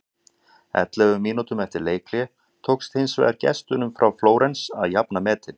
Ellefu mínútum eftir leikhlé tókst hins vegar gestunum frá Flórens að jafna metin.